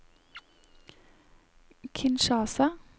Kinshasa